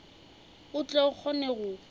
o tle o kgone go